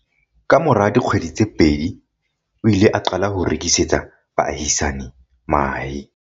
Kamora dikgwedi tse pedi, o ile a qala ho rekisetsa baahisani mahe.